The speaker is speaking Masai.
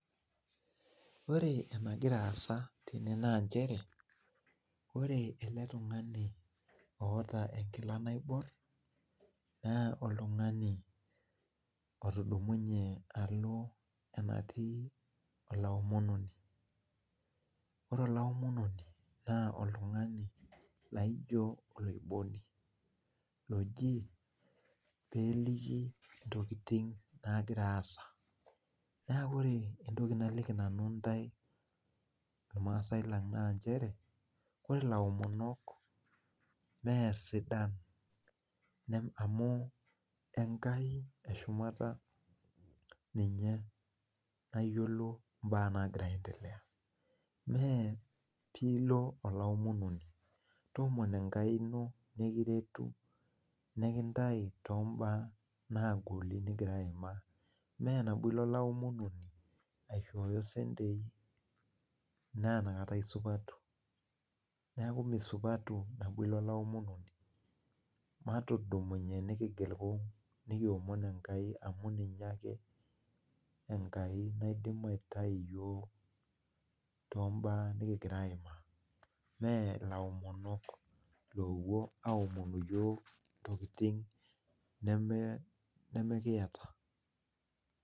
Ore enagira aasa tene naa nchere, ore ele tung'ani oota enkila naiborr naa oltung'ani otudumunye alo enatii olaomononi. Ore olaomononi naa oltung'ani laijo oloiboni loji peeliki ntokiting naagira aasa. Neeku ore entoki naliki nanu irmaasai lang naa nchere ore ilaomonok mee sidan amu enkai e shumata ninye nayiolo mbaak naagira aendelea. Mee piilo olaomononi, toomono enkai ino nekiretu nekintai tombaak naagoli nigira aimaa. Mee nabo ilo olaomononi aishoyo isentei naa inakata isupatu. Neeku misupatu nabo ilo olaomononi. Matudumunye nikigil kung' nekiomon enkai amu ninye ake enkai naidim aitii iyiok tombaak nekigira aimaa. Mee ilaomonok loopwo aomon iyiok intokiting nemekiata